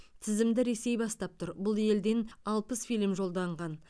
тізімді ресей бастап тұр бұл елден алпыс фильм жолданған